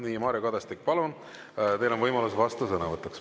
Nii, Mario Kadastik, palun, teil on võimalus vastusõnavõtuks.